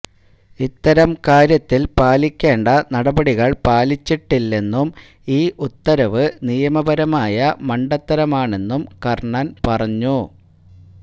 ഇത്തരം കാര്യത്തില് പാലിക്കേണ്ട നടപടികള് പാലിച്ചിട്ടില്ലെന്നും ഈ ഉത്തരവ് നിയമപരമായ മണ്ടത്തരമാണെന്നും കര്ണന് പറഞ്ഞു